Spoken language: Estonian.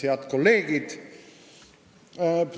Head kolleegid!